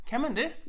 Kan man det?